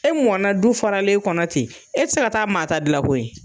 E mɔnna du fɔralen kɔnɔ ten, e tɛ se ka taa maa ta dilan koyi.